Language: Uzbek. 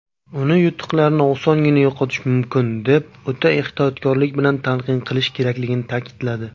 uni "yutuqlarni osongina yo‘qotish mumkin" deb "o‘ta ehtiyotkorlik bilan talqin qilish" kerakligini ta’kidladi.